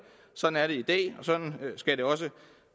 sådan er det i dag og sådan skal det også